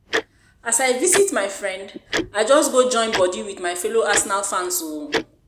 as I visit my friend, I just go join body with my fellow Arsenal fans o